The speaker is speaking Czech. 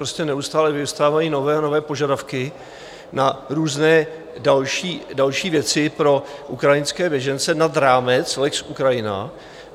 prostě neustále vyvstávají nové a nové požadavky na různé další věci pro ukrajinské běžence nad rámec lex Ukrajina.